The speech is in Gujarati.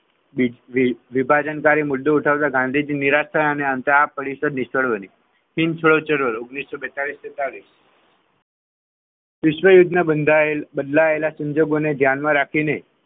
વિભાજન કાર્ય માટે મુદ્દો ઉઠાવવા ગાંધીજી નિરાશ થવાની કારણે આ પરિષદ નિષ્ફળ રહી. વિશ્વયુદ્ધના બદલાયેલ સંજોગોને ધ્યાનમાં રાખીને,